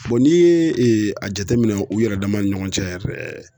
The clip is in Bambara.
n'i ye a jateminɛ u yɛrɛ damaw ni ɲɔgɔn cɛ yɛrɛ.